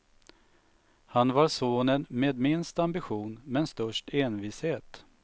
Han var sonen med minst ambition, men störst envishet.